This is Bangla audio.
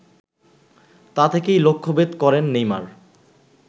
তা থেকেই লক্ষ্যভেদ করেন নেইমার